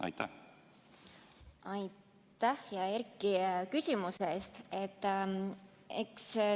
Aitäh, hea Erki, küsimuse ees!